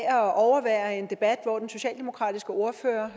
af at overvære en debat hvor den socialdemokratiske ordfører